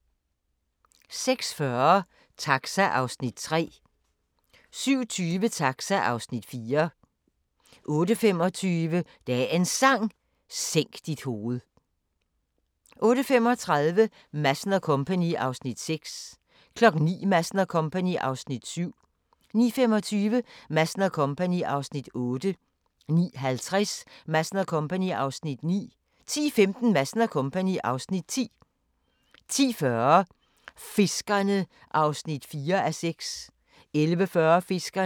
06:40: Taxa (Afs. 3) 07:20: Taxa (Afs. 4) 08:25: Dagens Sang: Sænk dit hoved 08:35: Madsen & Co. (Afs. 6) 09:00: Madsen & Co. (Afs. 7) 09:25: Madsen & Co. (Afs. 8) 09:50: Madsen & Co. (Afs. 9) 10:15: Madsen & Co. (Afs. 10) 10:40: Fiskerne (4:6) 11:40: Fiskerne (5:6)